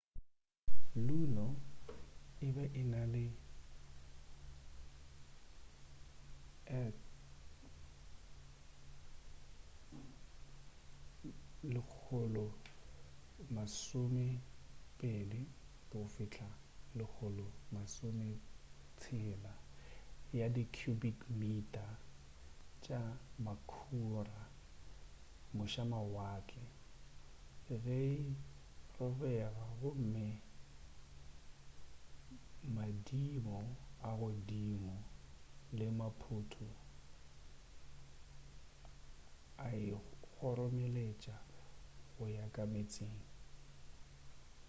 luno e be e na le 120-160 ya di cubic mita tša makhura mošamawatle ge e robega gomme madimo a godimo le maphoto a e kgoromeletša go ya ka meetseng